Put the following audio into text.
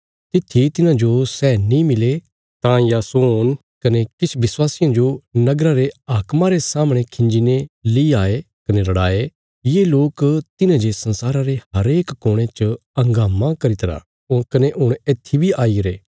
तित्थी तिन्हांजो सै नीं मिले तां यासोन कने किछ विश्वासियां जो नगरा रे हाक्मा रे सामणे खिंजी ने ली आये कने रड़ाये ये लोक तिन्हें जे संसारा रे हरेक कोणे च हंगामा करी तरा कने हुण येत्थी बी आईगरे